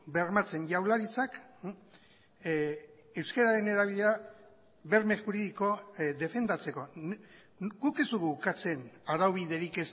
bermatzen jaurlaritzak euskararen erabilera berme juridiko defendatzeko guk ez dugu ukatzen araubiderik